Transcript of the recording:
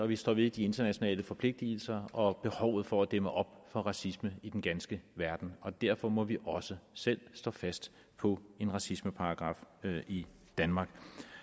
vi står ved de internationale forpligtelser og behovet for at dæmme op for racisme i den ganske verden og derfor må vi også selv stå fast på en racismeparagraf i danmark